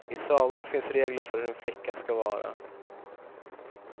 I sagorna finns regler för hur en flicka ska vara.